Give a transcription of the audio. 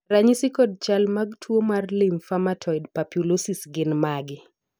ranyisi kod chal mag tuo mar lymphomatoid papulosis gin mage?